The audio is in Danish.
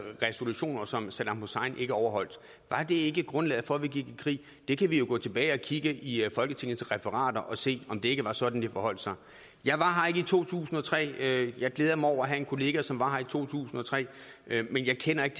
resolutioner som saddam hussein ikke overholdt var det ikke grundlaget for at vi gik i krig vi kan jo gå tilbage og kigge i folketingets referater og se om det ikke var sådan det forholdt sig jeg var her ikke i to tusind og tre jeg glæder mig over at have en kollega som var her i to tusind og tre men jeg kender ikke